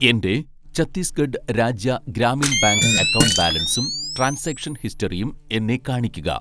എൻ്റെ Chhattisgarh Rajya Gramin bank account ബാലൻസും transaction ഹിസ്റ്ററിയും എന്നെ കാണിക്കുക.